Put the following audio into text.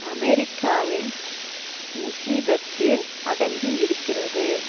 அமெரிக்காவின் உசிதத்தில் அடங்கியிருக்கிறது